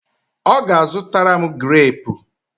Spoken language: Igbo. Ọ ga-azụtara m greepu?